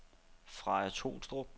Freja Tolstrup